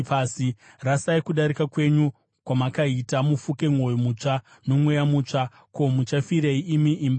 Rasai kudarika kwenyu kwamakaita, mufuke mwoyo mutsva nomweya mutsva. Ko, muchafirei, imi imba yaIsraeri?